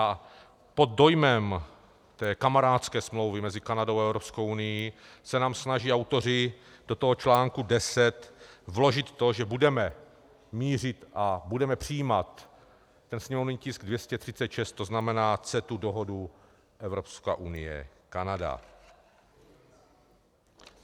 A pod dojmem té kamarádské smlouvy mezi Kanadou a Evropskou unií se nám snaží autoři do toho článku 10 vložit to, že budeme mířit a budeme přijímat ten sněmovní tisk 236, to znamená CETA, dohodu Evropská unie - Kanada.